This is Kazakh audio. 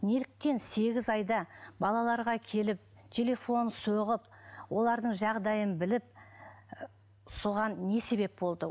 неліктен сегіз айда балаларға келіп телефон соғып олардың жағдайын біліп і соған не себеп болды